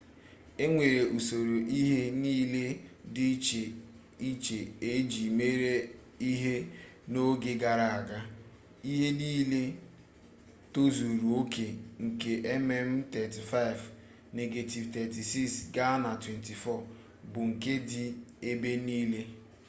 e nwere usoro ihe nlele dị iche iche eji mere ihe n'oge gara aga. ihe nlele tozuru oke nke mm35 negetivu 36 ga na 24 bụ nke dị ebe niile